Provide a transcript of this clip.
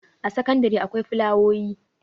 a sakandare akwai fulawoyi